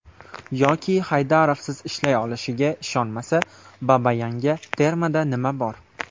Yoki Haydarovsiz ishlay olishiga ishonmasa, Babayanga termada nima bor?